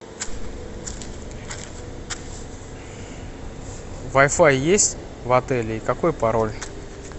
вай фай есть в отеле и какой пароль